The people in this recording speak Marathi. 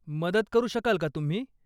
मदत करू शकाल का तुम्ही?